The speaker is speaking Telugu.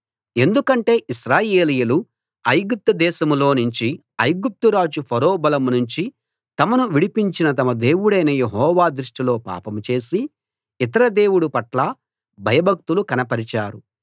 ఎందుకంటే ఇశ్రాయేలీయులు ఐగుప్తు దేశంలో నుంచీ ఐగుప్తు రాజు ఫరో బలం నుంచీ తమను విడిపించిన తమ దేవుడైన యెహోవా దృష్టిలో పాపం చేసి ఇతర దేవుడు పట్ల భయభక్తులు కనపరిచారు